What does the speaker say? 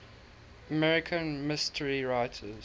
american mystery writers